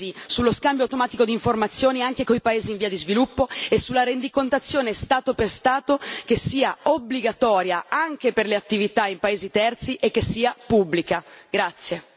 Passi avanti decisi sullo scambio automatico di informazioni anche con i paesi in via di sviluppo e sulla rendicontazione Stato per Stato che sia obbligatoria anche per le attività in paesi terzi e che sia pubblica.